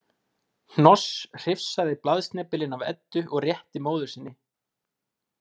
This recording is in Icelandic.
Hnoss hrifsaði blaðsnepilinn af Eddu og rétti móður sinni.